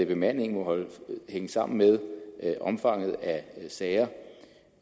bemandingen må hænge sammen med omfanget af sager